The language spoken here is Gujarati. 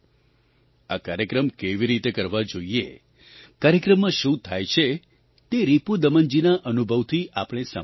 આ કાર્યક્રમ કેવી રીતે કરવા જોઈએ કાર્યક્રમમાં શું થાય છે તે રિપુદમનજીના અનુભવથી આપણે સાંભળ્યું છે